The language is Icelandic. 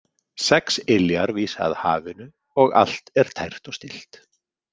Sex iljar vísa að hafinu og allt er tært og stillt.